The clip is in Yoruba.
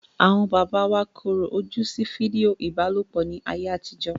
Àwọn bàbá wa korò ojú sí fídíò ìbálòpọ̀ ní ayé àtijó.